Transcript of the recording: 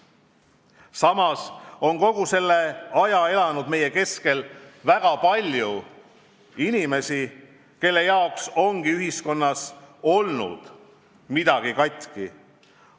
Samas on kogu selle aja elanud meie keskel väga palju inimesi, kelle arvates on ühiskonnas kogu aeg midagi katki olnud.